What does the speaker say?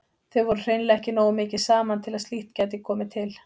Þau voru hreinlega ekki nógu mikið saman til að slíkt gæti komið til.